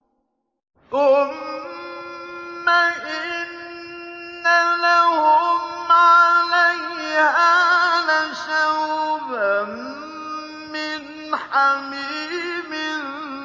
ثُمَّ إِنَّ لَهُمْ عَلَيْهَا لَشَوْبًا مِّنْ حَمِيمٍ